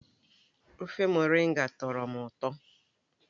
ofe moringa tọrọ m ụtọ